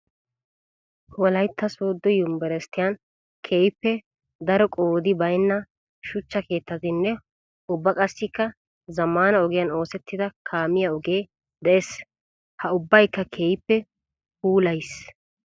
Wolaytta soodo yunbbursstiyan keehippe daro qoodi baynna shuchcha keettatinne ubba qassikka zamaana ogiyan oosettidda kaamiya ogee de'ees. Ha ubbabaykka keehippe puulayiis.